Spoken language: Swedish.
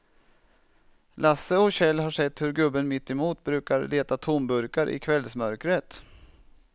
Lasse och Kjell har sett hur gubben mittemot brukar leta tomburkar i kvällsmörkret.